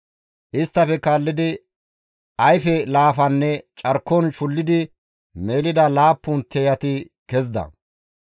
Isttafe kaallidi ayfe laafanne carkon shullidi melida laappun tiyati kezida.